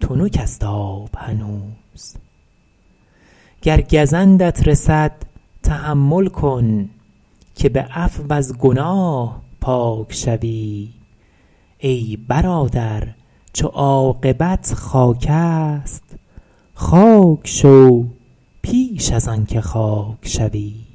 تنک آب است هنوز گر گزندت رسد تحمل کن که به عفو از گناه پاک شوی ای برادر چو خاک خواهی شد خاک شو پیش از آن که خاک شوی